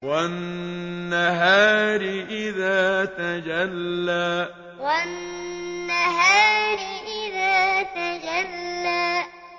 وَالنَّهَارِ إِذَا تَجَلَّىٰ وَالنَّهَارِ إِذَا تَجَلَّىٰ